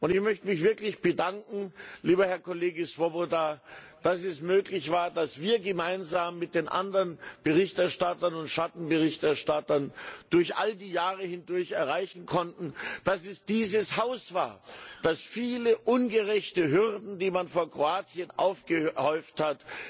Ich möchte mich wirklich bedanken, lieber Herr Kollege Swoboda, dass wir gemeinsam mit den anderen Berichterstattern und Schattenberichterstattern durch all die Jahre hindurch erreichen konnten, dass es dieses Haus war, das viele ungerechte Hürden, die man vor Kroatien aufgehäuft hat,